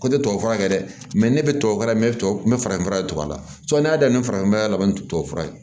Ko ne tɛ tubabu fura kɛ dɛ ne bɛ tubabufura n bɛ n bɛ farafin fura de to a la n'i y'a daminɛ farafin fura la ni to tubabu fura ye